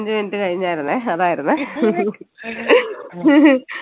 ഒരു minute കഴിഞ്ഞായിരുന്നെ അതായിരുന്നെ